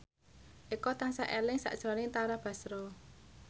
Eko tansah eling sakjroning Tara Basro